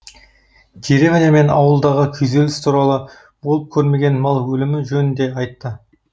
деревня мен ауылдағы күйзеліс туралы болып көрмеген мал өлімі жөнінде айтты